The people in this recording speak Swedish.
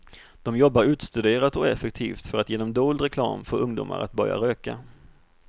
De jobbar utstuderat och effektivt för att genom dold reklam få ungdomar att börja röka.